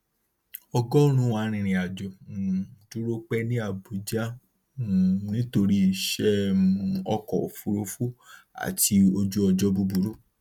ọgọrùnún arìnrìnàjò um dúró pẹ ní abuja um nítorí iṣẹ um ọkọ òfuurufú àti ojúọjọ búburú